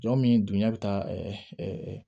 Jɔ min dun ɲɛ bɛ taa